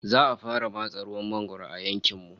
Za'a fara matse ruwan mangwaro a yankin mu